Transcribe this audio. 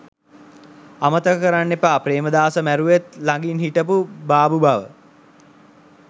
අමතක කරන්න එපා ප්‍රේමදාසව මැරුවෙත් ලඟින් හිටපු බාබු බව.